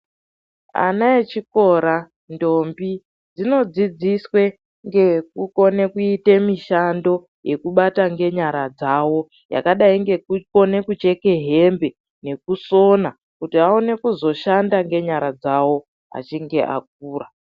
Ana echikora ndombi dzinodzidziswe ngekukone kuite mishando yekubata ngenyara dzawo yakadai ngekukone kucheke hembe nekusona kuti aone kuzoshanda ngenyara dzawo achinge akura.